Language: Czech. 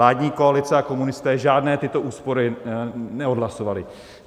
Vládní koalice a komunisté žádné tyto úspory neodhlasovali.